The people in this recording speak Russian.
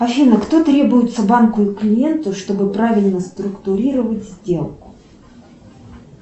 афина кто требуется банку и клиенту чтобы правильно структуировать сделку